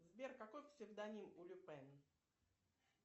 сбер какой псевдоним у люпена